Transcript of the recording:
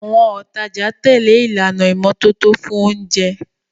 Àwọn òtajà tẹ̀lé ìlànà ìmọ́tótó fún oúnjẹ.